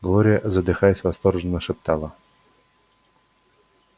глория задыхаясь восторженно шептала